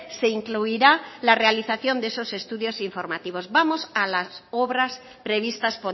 se incluirá la realización de esos estudios informativos vamos a las obras previstas